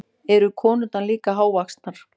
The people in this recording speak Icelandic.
Eru konurnar líka hávaxnar?